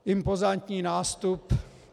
Impozantní nástup.